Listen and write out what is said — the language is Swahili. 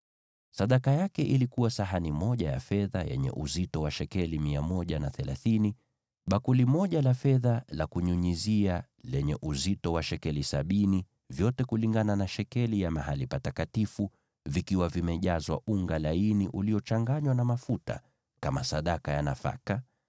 Sadaka yake ilikuwa sahani moja ya fedha yenye uzito wa shekeli 130, na bakuli moja la fedha la kunyunyizia lenye uzito wa shekeli sabini, vyote kulingana na shekeli ya mahali patakatifu, vikiwa vimejazwa unga laini uliochanganywa na mafuta kama sadaka ya nafaka;